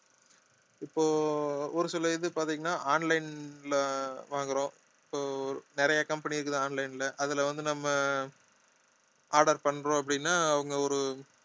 இப்போ ஒரு சில இது பாத்தீங்கன்னா online ல வாங்குறோம் so நிறைய company இருக்குது online ல அதுல வந்து நம்ம order பண்றோம் அப்படின்னா அவங்க ஒரு